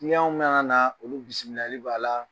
mana na olu bisimilali b'a la